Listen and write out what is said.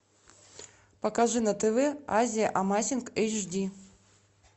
покажи на тв азия амазинг эйч ди